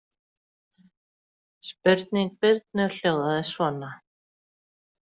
Spurning Birnu hljóðaði svona